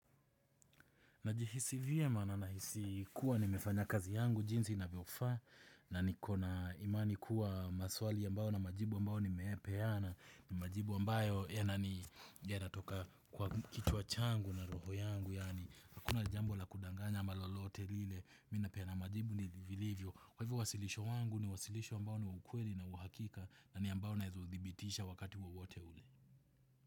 Najihisi vyema nanahisi kuwa nimefanya kazi yangu jinsi inavyofaa na nikona imani kuwa maswali ambayo na majibu ambayo niyamepeana. Majibu ambayo yanani yanatoka kwa kichwa changu na roho yangu yaani hakuna jambo la kudanganya ama lolote lile mimi napeana majibu vilivyo. Kwa hivyo wasilisho langu ni wasilisho ambayo ni wa ukweli na wa hakika na ni ambayo na udhibitisha wakati wowote ule.